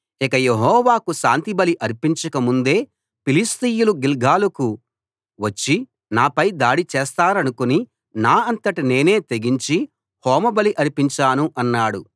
ఇక యెహోవాకు శాంతి బలి అర్పించక ముందే ఫిలిష్తీయులు గిల్గాలుకు వచ్చి నాపై దాడి చేస్తారనుకుని నా అంతట నేనే తెగించి హోమబలి అర్పించాను అన్నాడు